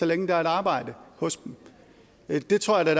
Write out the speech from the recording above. længe der er et arbejde hos dem det tror jeg